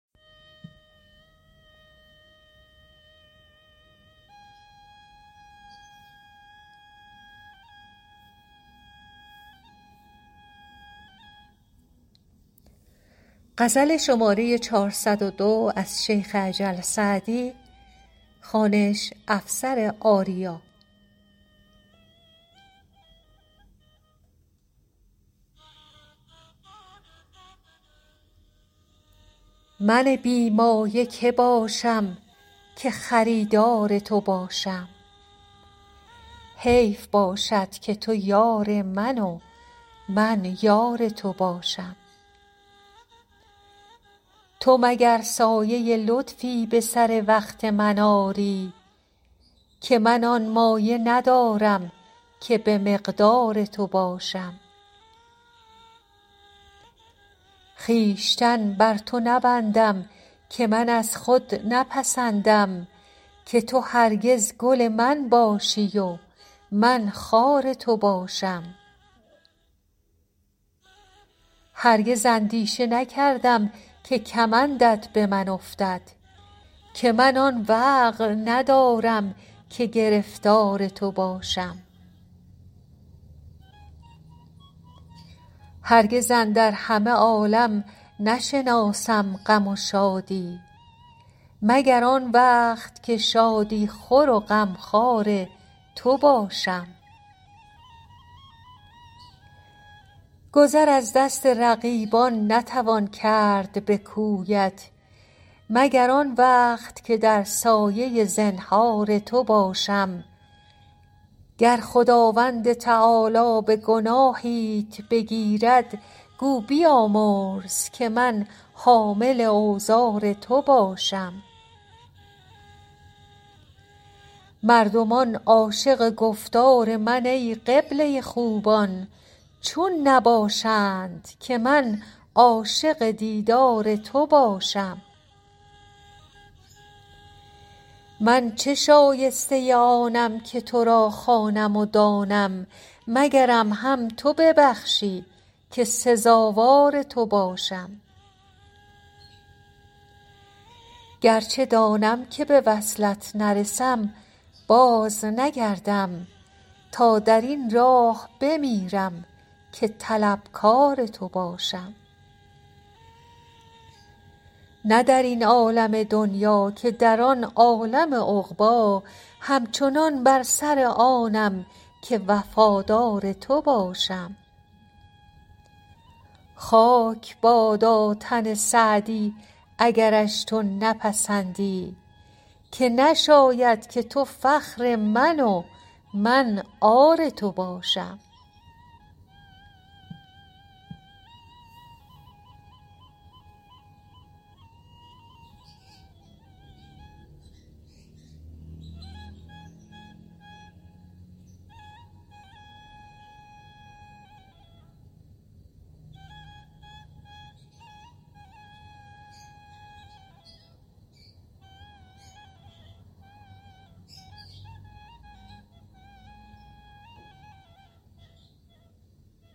من بی مایه که باشم که خریدار تو باشم حیف باشد که تو یار من و من یار تو باشم تو مگر سایه لطفی به سر وقت من آری که من آن مایه ندارم که به مقدار تو باشم خویشتن بر تو نبندم که من از خود نپسندم که تو هرگز گل من باشی و من خار تو باشم هرگز اندیشه نکردم که کمندت به من افتد که من آن وقع ندارم که گرفتار تو باشم هرگز اندر همه عالم نشناسم غم و شادی مگر آن وقت که شادی خور و غمخوار تو باشم گذر از دست رقیبان نتوان کرد به کویت مگر آن وقت که در سایه زنهار تو باشم گر خداوند تعالی به گناهیت بگیرد گو بیامرز که من حامل اوزار تو باشم مردمان عاشق گفتار من ای قبله خوبان چون نباشند که من عاشق دیدار تو باشم من چه شایسته آنم که تو را خوانم و دانم مگرم هم تو ببخشی که سزاوار تو باشم گرچه دانم که به وصلت نرسم بازنگردم تا در این راه بمیرم که طلبکار تو باشم نه در این عالم دنیا که در آن عالم عقبی همچنان بر سر آنم که وفادار تو باشم خاک بادا تن سعدی اگرش تو نپسندی که نشاید که تو فخر من و من عار تو باشم